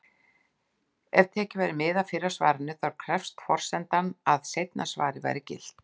Ef tekið væri mið af fyrra svarinu, þá krefðist forsendan að seinna svarið væri gilt.